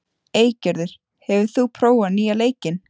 Eygerður, hefur þú prófað nýja leikinn?